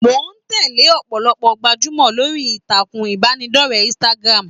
Mo tẹle ọpọlọpọ gbajumọ lórí ìtàkùn ìbánidọ̀rẹ̀ Instagram.